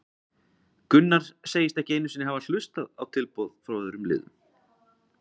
Gunnar segist ekki einu sinni hafa hlustað hlustað á tilboð frá öðrum liðum.